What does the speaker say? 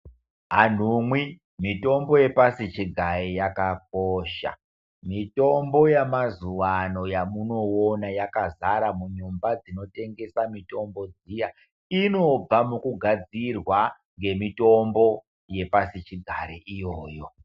Anhumwi mitombo yepasi chigare yakakosha mitombo yemazuvano yamunoona yakazara munyumba dzinotengesa mitombo dziya inobva mukugadzirwa nemitombo yepasi chigare iyoyo.